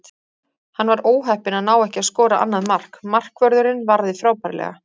Hann var óheppinn að ná ekki að skora annað mark, markvörðurinn varði frábærlega.